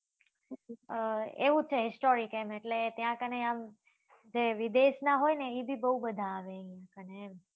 અ એવું છે historic એમ એટલે તા કને આમ વિદેશ નાં હોય એ બી બઉ બધા આવે ત્યાં કને એમ